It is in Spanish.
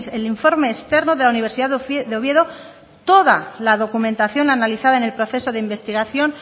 el informe externo de la universidad de oviedo toda la documentación analizada en el proceso de investigación